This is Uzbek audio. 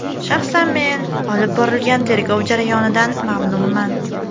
Shaxsan men olib borilgan tergov jarayonidan mamnunman.